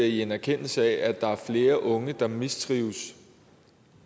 i en erkendelse af at der er flere unge der mistrives